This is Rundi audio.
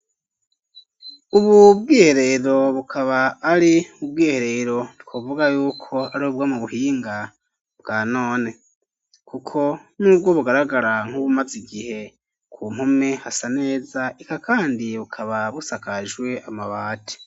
Ububwihe rero bukaba ari ubwihe rero twovuga yuko ari bubwa mu buhinga bwa none, kuko n'ubwo bugaragara nk'ubumaze igihe ku mpume hasa neza ika, kandi bukaba busakajwe amabati.